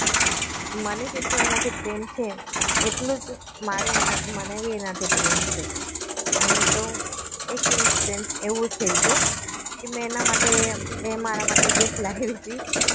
મને જેટલું એનાથી પ્રેમ છે એટલું જ મારે એના મને એનાથી પ્રેમ છે અને તો એક incidence એવું થયું હતું કે મેં એના માટે એ મારા માટે gift લાવી હતી